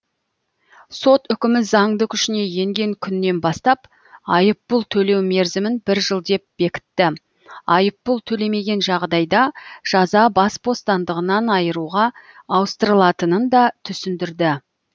сот үкімі заңды күшіне енген күннен бастап айыппұл төлеу мерзімін бір жыл деп бекітті айыппұл төлемеген жағдайда жаза бас бостандығынан айыруға ауыстырылатынын да түсіндірді